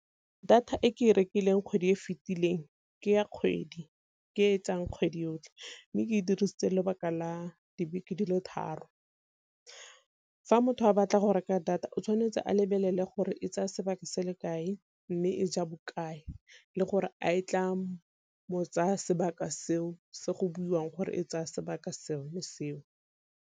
Data e ke e rekileng kgwedi e e fetileng ke ya kgwedi ke etsang kgwedi yotlhe, mme ke e dirisitse lebaka la dibeke dilo tharo. Fa motho a batla go reka data o tshwanetse a lebelele gore e tsaya sebaka se le kae, mme e ja bokae le gore a e tla mo tsaya sebaka seo se go buiwang gore e tsaya sebaka sone seo.